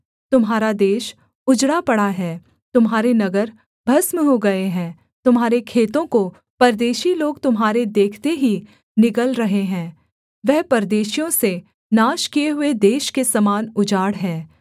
तुम्हारा देश उजड़ा पड़ा है तुम्हारे नगर भस्म हो गए हैं तुम्हारे खेतों को परदेशी लोग तुम्हारे देखते ही निगल रहे हैं वह परदेशियों से नाश किए हुए देश के समान उजाड़ है